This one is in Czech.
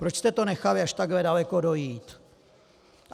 Proč jste to nechali až takhle daleko dojít?